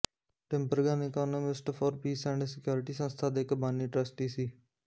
Tinbergen economists for peace and security ਸੰਸਥਾ ਦਾ ਇੱਕ ਬਾਨੀ ਟਰੱਸਟੀ ਸੀ